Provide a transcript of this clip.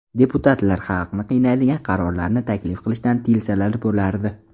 Deputatlar xalqni qiynaydigan qarorlarni taklif qilishdan tiyilsalar bo‘lardi.